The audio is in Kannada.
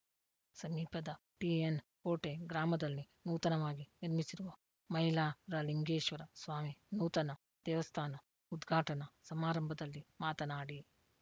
ಸಮೀಪದ ಟಿಎನ್‌ಕೋಟೆ ಗ್ರಾಮದಲ್ಲಿ ನೂತನವಾಗಿ ನಿರ್ಮಿಸಿರುವ ಮೈಲಾರಲಿಂಗೆಶ್ವರಸ್ವಾಮಿ ನೂತನ ದೇವಸ್ಥಾನ ಉದ್ಘಾಟನಾ ಸಮಾರಂಭದಲ್ಲಿ ಮಾತನಾಡಿ